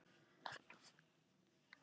Berg á hauðri víða sérð.